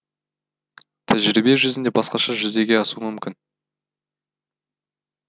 тәжірибе жүзінде басқаша жүзеге асуы мүмкін